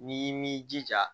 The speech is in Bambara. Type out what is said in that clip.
N'i m'i jija